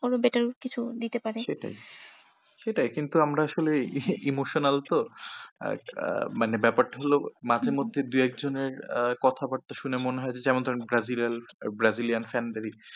কোনো better কিছু দিতে পারে। সেটাই সেটাই কিন্তু আমরা আসলে emotional তো আহ মানে ব্যাপারটা হল মাঝে মধ্যে দু একজনের আহ কথা বার্তা শুনে মনে হয় যেমন ধরেন গাজী রাল ব্রাজিয়াল fan দেরিই,